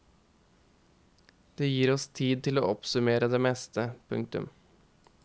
Det gir oss tid til å oppsummere det meste. punktum